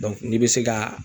n'i be se ka